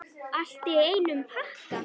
Allt í einum pakka!